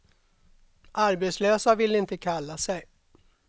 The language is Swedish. Arbetslösa vill de inte kalla sig.